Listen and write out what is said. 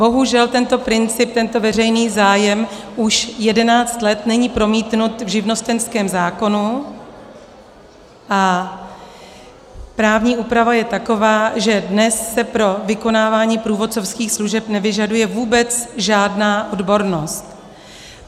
Bohužel tento princip, tento veřejný zájem už jedenáct let není promítnut v živnostenském zákonu a právní úprava je taková, že dnes se pro vykonávání průvodcovských služeb nevyžaduje vůbec žádná odbornost.